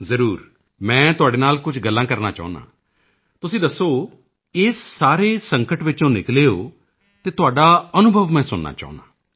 ਜ਼ਰੂਰ ਮੈਂ ਤੁਹਾਡੇ ਨਾਲ ਕੁਝ ਗੱਲਾਂ ਕਰਨਾ ਚਾਹੁੰਦਾ ਹਾਂ ਦੱਸੋ ਤੁਸੀਂ ਇਸ ਸਾਰੇ ਸੰਕਟ ਵਿੱਚੋਂ ਨਿਕਲੇ ਹੋ ਤਾਂ ਤੁਹਾਡਾ ਅਨੁਭਵ ਮੈਂ ਸੁਣਨਾ ਚਾਹੁੰਦਾ ਹਾਂ